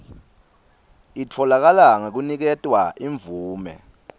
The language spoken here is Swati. itfolakala ngekuniketwa imvume